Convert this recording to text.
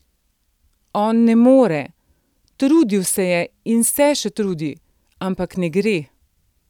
On ne more, trudil se je in se še trudi, ampak ne gre.